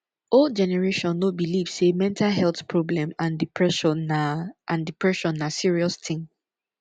old generation no believe sey mental health problem and depression na and depression na serious thing